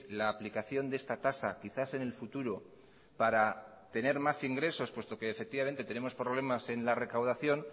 la aplicación de esta tasa quizás en el futuro para tener más ingresos puesto que efectivamente tenemos problemas en la recaudación